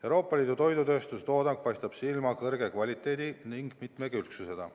Euroopa Liidu toidutööstuse toodang paistab silma kõrge kvaliteedi ning mitmekülgsusega.